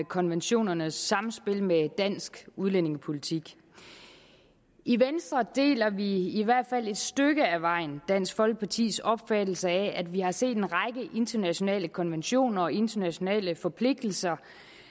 konventionernes samspil med dansk udlændingepolitik i venstre deler vi i hvert fald et stykke ad vejen dansk folkepartis opfattelse af at vi har set en række internationale konventioner og internationale forpligtelser